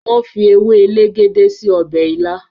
wón fí ewe elegede sí Ọbẹ̀ ila.